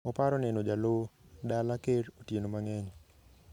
Oparo neno Jallow dala kerr otieno mangeny.